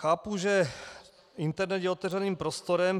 Chápu, že internet je otevřeným prostorem.